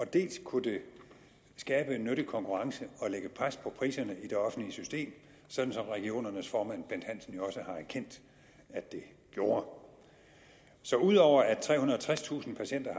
dels kunne det skabe en nyttig konkurrence og lægge pres på priserne i det offentlige system sådan som regionernes formand bent hansen jo også har erkendt at det gjorde så ud over at trehundrede og tredstusind patienter